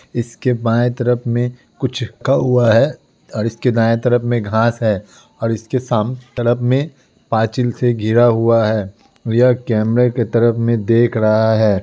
इसके बाएं तरफ में कुछ कौवा है और इसके दाएं तरफ में घास है। और उसके सामने तरफ में पाछिल से गिरा हुआ है। यह कैमरे की तरफ में देख रहा है।